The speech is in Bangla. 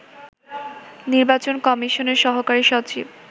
নির্বাচন কমিশনের সহকারী সচিব